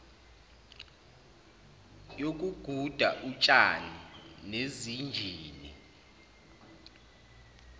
yokuguda utshani nezinjini